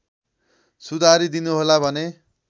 सुधारी दिनुहोला भन्ने